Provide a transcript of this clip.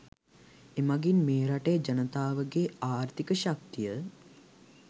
එමගින් මේ රටේ ජනතාවගේ ආර්ථික ශක්තිය